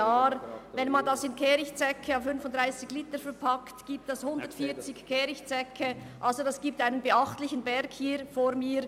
Würde man diese Menge in Kehrichtsäcke à 35 Liter verpacken, ergäbe dies 140 Kehrichtsäcke respektive einen beachtlichen Berg hier vor mir.